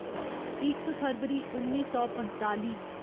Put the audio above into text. इक फरवरी उन्नी सौ पंजताली